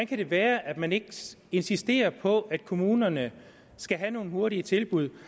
kan det være at man ikke insisterer på at kommunerne skal have nogle hurtige tilbud